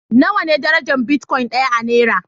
Nawa ne darajar bitcoin ɗaya a naira?